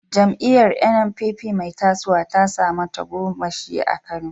Jam’iyyar NNPP mai tasowa ta samu tagomashi a Kano.